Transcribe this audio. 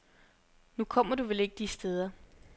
Nu kommer du vel ikke de steder.